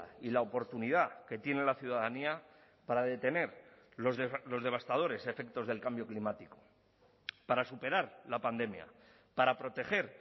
y la oportunidad que tiene la ciudadanía para detener los devastadores efectos del cambio climático para superar la pandemia para proteger